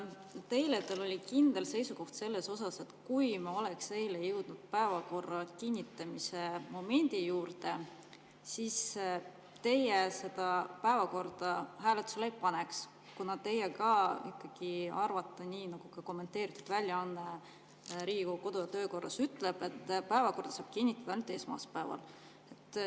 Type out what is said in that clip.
Eile teil oli kindel seisukoht selles osas, et kui me oleks eile jõudnud päevakorra kinnitamise momendini, siis teie seda päevakorda hääletusele poleks pannud, kuna teie ikkagi arvate nii, nagu Riigikogu kodu‑ ja töökorra kommenteeritud väljaanne ütleb, et päevakorda saab kinnitada ainult esmaspäeval.